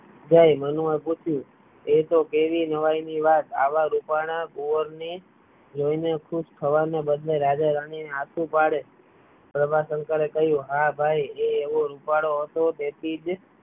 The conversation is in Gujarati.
ગઈ મનમાં પૂછ્યું એતો કેવી નવાઈની વાત આવા રૂપાળા કુંવરને જોઈ ને ખુશ થવા ના બદલે રાજા રાની આંસુ પડે પ્રભાશંકરે કહ્યું હા ભાઈ એ એવો રૂપાળો હતો તેથી જ